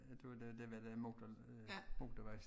Ja det var den dér med den motor motorvejs